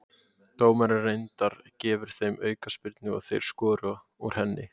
Dómarinn reyndar gefur þeim aukaspyrnu og þeir skora úr henni.